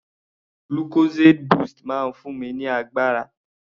Lucozade boost máa ń fún mi ní agbára.